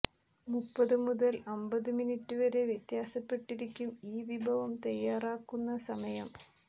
മുപ്പതു മുതൽ അമ്പത് മിനിറ്റ് വരെ വ്യത്യാസപ്പെട്ടിരിക്കും ഈ വിഭവം തയാറാക്കുന്ന സമയം